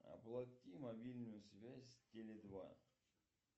оплати мобильную связь теле два